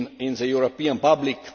the European public.